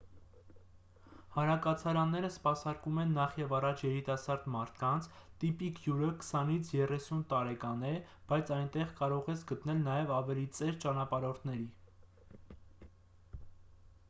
հանրակացարանները սպասարկում են նախևառաջ երիտասարդ մարդկանց տիպիկ հյուրը քսանից երեսուն տարեկան է բայց այնտեղ կարող ես գտնել նաև ավելի ծեր ճանապարհորդների